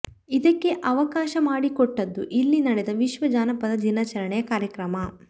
ಇದಕ್ಕೆ ಅವಕಾಶ ಮಾಡಿಕೊಟ್ಟದ್ದು ಇಲ್ಲಿ ನಡೆದ ವಿಶ್ವ ಜಾನಪದ ದಿನಾಚರಣೆ ಕಾರ್ಯಕ್ರಮ